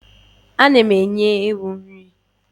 Ana m enye ewu nri.